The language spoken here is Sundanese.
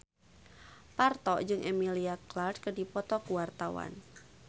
Parto jeung Emilia Clarke keur dipoto ku wartawan